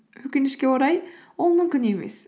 өкінішке орай ол мүмкін емес